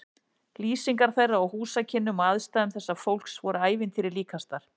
Lýsingar þeirra á húsakynnum og aðstæðum þessa fólks voru ævintýri líkastar.